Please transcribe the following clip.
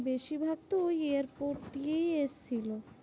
বেশিরভাগ তো ওই এয়ারপোর্ট দিয়েই এসেছিলো।